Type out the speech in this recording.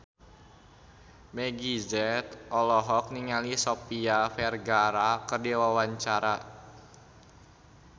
Meggie Z olohok ningali Sofia Vergara keur diwawancara